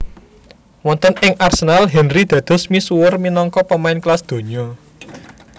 Wonten ing Arsenal Henry dados misuwur minangka pemain kelas donya